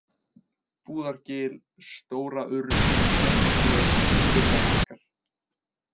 Búðargil, Stóraurð, Sléttaflöt, Urðarbakkar